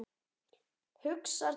Hugsar til Gutta.